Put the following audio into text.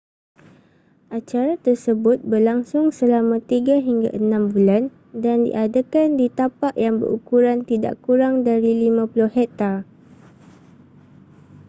acara tersebut berlangsung selama tiga hingga enam bulan dan diadakan di tapak yang berukuran tidak kurang dari 50 hektar